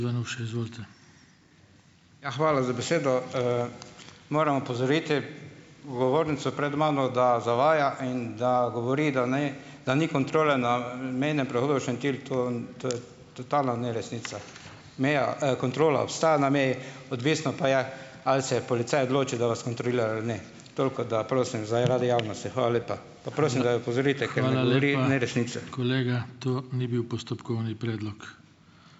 Ja, hvala za besedo, Moram opozoriti govornico pred mano, da zavaja in da govori, da ni, da ni kontrole na, mejnem prehodu Šentilj to to je totalna neresnica. Meja, kontrola obstaja na meji, odvisno pa je, ali se je policaj odločil, da vas kontrolira ali ne. Toliko, da prosim, zaradi javnosti. Hvala lepa.